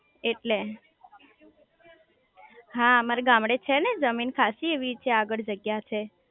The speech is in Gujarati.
એટલે હા મારા ગામડે છે ને જમીન ખાંસી એવી છે આગળ જગ્યા છે